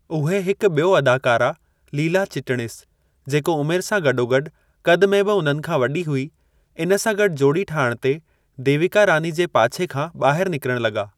उहे हिकु बि॒यो अदाकारा लीला चिटनिस, जेको उमिरि सां गॾोगॾु कद में बि उन्हनि खां वॾी हुई, इन सां गॾु जोड़ी ठाहिणु ते देविका रानी जे पाछे खां ॿाहिर निकरणु लॻा।